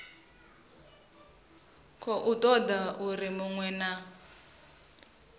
khou toda uri munwe na